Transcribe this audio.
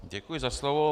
Děkuji za slovo.